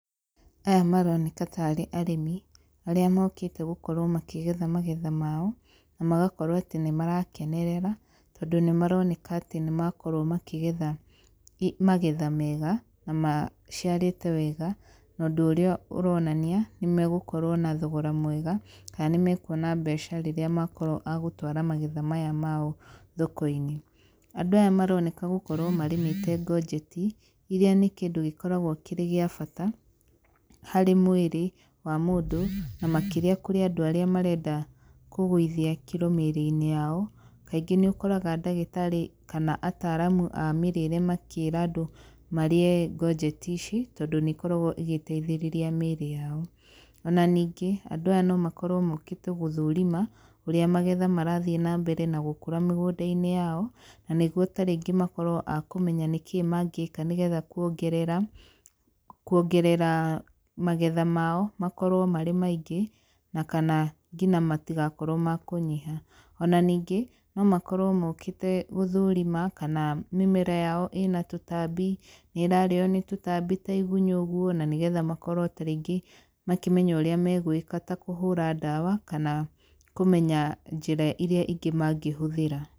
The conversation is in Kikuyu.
Aya maroneka ta rĩ arĩmi, arĩa mokĩte gũkorwo makĩgetha magetha mao, na magakorwo atĩ nĩ marakenerera, tondũ nĩ maroneka atĩ nĩ makorwo makĩgetha magetha mega, na maciarĩte wega, na ũndũ ũrĩa ũronania nĩ magũkorwo na thogora mwega, kana nĩ mekuona mbeca rĩrĩa makorwo a gũtwara magetha maya mao thoko-inĩ. Andũ aya maroneka gũkorwo marĩmĩte ngonjeti, iria nĩ kĩndũ gĩkoragwo kĩrĩ gĩa bata harĩ mwĩrĩ wa mũndũ, na makĩrĩa kũrĩ andũ arĩa marenda kũgũithia kiro mĩrĩ-inĩ yao, kaingĩ nĩ ũkoraga ndagĩtarĩ kana ataramu a mĩrĩre makĩra andũ marĩe ngonjeti ici tondũ nĩ ĩkoragwo ĩgĩteithĩrĩria mĩrĩ yao. Ona ningĩ andũ aya no makorwo mokĩte gũthũrima, ũrĩa magetha marathiĩ nambere nagũkũra mĩgũnda-inĩ yao, na nĩguo ta rĩngĩ makorwo akũmenya nĩkĩ mangĩka nĩgetha kuongerera kuongerera magetha mao makorwo marĩ maingĩ, na kana nginya matigakorwo makũnyiha. Ona ningĩ no makorwo mokĩte gũthũrima kana mĩmera yao ĩna tũtambi, nĩ ĩrarĩo nĩ tũtambi ta igunyũ ũguo, na nĩgetha makorwo ta rĩngĩ makĩmenya ũrĩa megwĩka ta kũhũra ndawa kana kũmenya njĩra iria ingĩ mangĩhũthĩra.